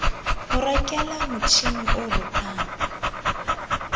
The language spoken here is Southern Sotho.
mo rekela motjhini o rokang